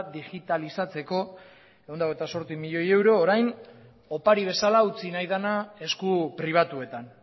digitalizatzeko ehun eta zortzi milioi euro orain opari bezala utzi nahi dena esku pribatuetan